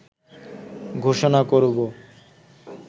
ঘোষণা করব